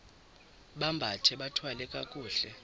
bambathe bathwale kakuhle